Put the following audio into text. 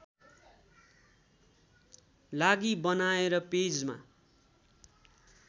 लागि बनाएर पेजमा